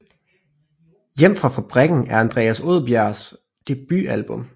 Hjem Fra Fabrikken er Andreas Odbjergs debutalbum